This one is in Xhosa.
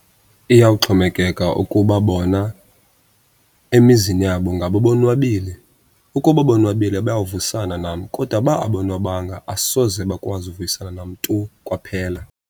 Iyawuxhomekeka ukuba bona emizini yabo ingaba bonwabile. Ukuba bonwabile bayawuvuyisana nam, kodwa uba abonwabanga asoze bakwazi uvuyisana nam tu kwaphela.